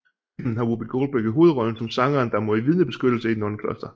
Filmen har Whoopi Goldberg i hovedrollen som sangeren der må i vidnebeskyttelse i et nonnekloster